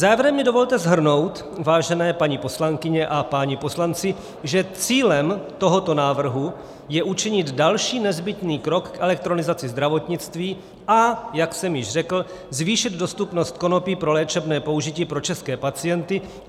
Závěrem mi dovolte shrnout, vážené paní poslankyně a páni poslanci, že cílem tohoto návrhu je učinit další nezbytný krok k elektronizaci zdravotnictví, a jak jsem již řekl, zvýšit dostupnost konopí pro léčebné použití pro české pacienty.